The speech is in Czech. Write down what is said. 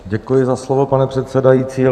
Děkuji za slovo, pane předsedající.